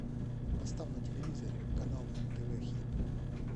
поставь на телевизоре канал нтв хит